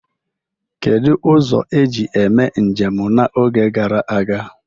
Kedu ụzọ eji eme njem n'oge gara aga?